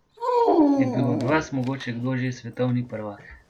Je bil od vas mogoče kdo že svetovni prvak ?